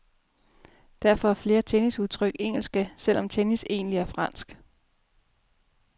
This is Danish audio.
Derfor er flere tennisudtryk engelske, selv om tennis egentlig er fransk.